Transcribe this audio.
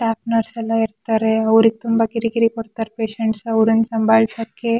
app nurse ಎಲ್ಲಾ ಇರತಾರೆ ಅವ್ರಿಗೆ ತುಂಬಾ ಕಿರಿ ಕಿರಿ ಕೊಡ್ತಾರೆ ಅವ್ರನ್ನ ಸಂಭಾಳಿಸಕ್ಕೆ--